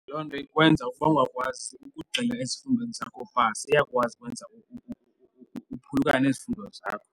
Loo nto ikwenza uba ukungakwazi ukugxila ezifundweni zakho iyakwazi ukwenza uphulukane nezifundo zakho.